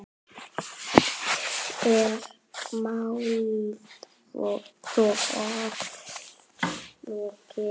Er málþófi lokið?